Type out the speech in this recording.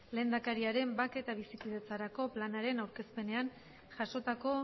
lehendakariaren bake eta bizikidetzarako planaren aurkezpenean jasotako